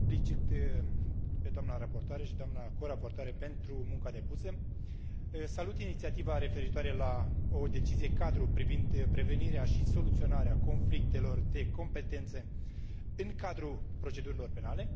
O felicit pe doamna raportoare și pe doamna co raportoare pentru munca depusă, salut inițiativa referitoare la o decizie cadru privind prevenirea și soluționarea conflictelor de competență în cadrul procedurilor penale.